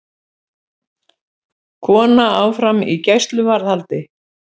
Kona áfram í gæsluvarðhaldi